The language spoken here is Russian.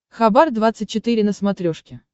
хабар двадцать четыре на смотрешке